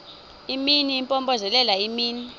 imini impompozelela imini